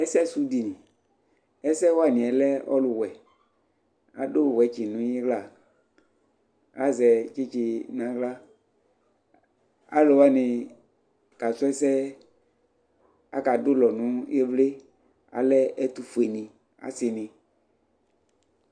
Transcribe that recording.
ɛsɛ sʋ dini, ɛsɛ waniɛ lɛ ɔlʋ wɛ adʋ watch nʋ ila azɛ tsitsi nʋ ala, alʋwani kasrɔ ɛsɛ aka dʋlɔ nʋ ivli alɛ ɛtʋƒʋɛ ni asii ni